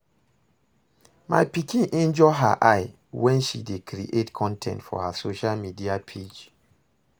My pikin injure her eye wen she dey create con ten t for her social media page